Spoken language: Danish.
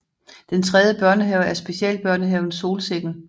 Den tredje børnehave er specielbørnehaven Solsikken